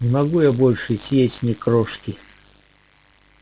не могу я больше съесть ни крошки